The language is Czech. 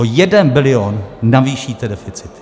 O jeden bilion navýšíte deficit!